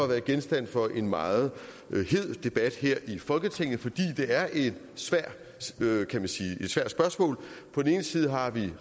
været genstand for en meget hed debat her i folketinget fordi det er et svært spørgsmål på den ene side har vi